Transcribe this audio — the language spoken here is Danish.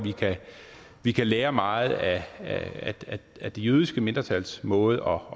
at vi kan lære meget af det jødiske mindretals måde